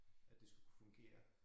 At det skulle kunne fungere